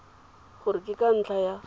gore ke ka ntlha ya